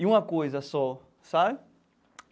E uma coisa só, sabe?